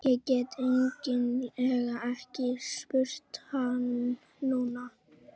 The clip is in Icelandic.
Ég get eiginlega ekki spurt hann núna.